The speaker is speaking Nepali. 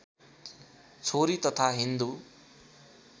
छोरी तथा हिन्दू